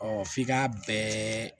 f'i ka bɛɛ